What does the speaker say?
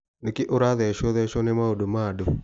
Nĩkĩ ũrathecotheco nĩ maũndũ ma andũ.